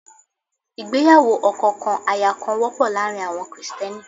Ìgbéyàwó ọkọ kan aya kan wọ́pọ̀ láàárín àwọn Krìsìtẹ́nì.